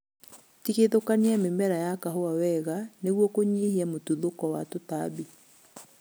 Tigithũkania mĩmera ya kahũa wega nĩguo kũnyihia mũtuthũko wa tũtambi